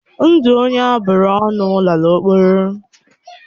Ndụ onye aburu ọnụ lala ọkpọrọ.